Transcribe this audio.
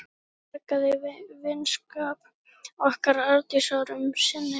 Hún bjargaði vinskap okkar Arndísar um sinn.